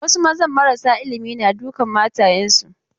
Wasu mazan marasa ilimi na dukan matayensu.